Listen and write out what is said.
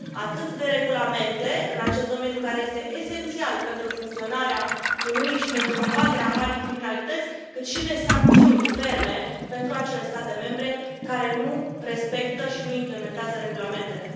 Avem nevoie atât de regulamente în acest domeniu, care este esențial pentru funcționarea Uniunii și pentru combaterea marii criminalități, cât și de sancțiuni ferme pentru acele state membre care nu respectă și nu implementează regulamentele.